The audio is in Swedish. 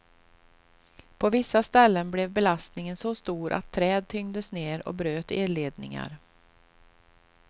På vissa ställen blev belastningen så stor att träd tyngdes ner och bröt elledningar.